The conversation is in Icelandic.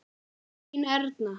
Þín Erna.